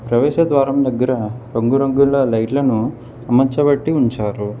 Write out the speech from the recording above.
ప్రవేశ ద్వారం దగ్గర రంగురంగుల లైట్ లను అమర్చబట్టి ఉంచారు.